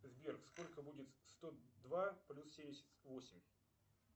сбер сколько будет сто два плюс семьдесят восемь